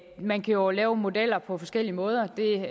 man kan jo lave modeller på forskellige måder det